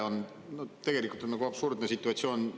See on tõepoolest absurdne situatsioon.